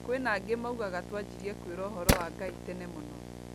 Kwĩna angĩ maugaga twanjirie kwĩrwo ũhoro wa Ngai tene mũno